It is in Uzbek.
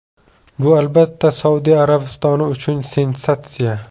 Bu, albatta, Saudiya Arabistoni uchun sensatsiya.